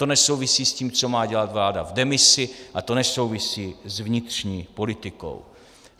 To nesouvisí s tím, co má dělat vláda v demisi, a to nesouvisí s vnitřní politikou.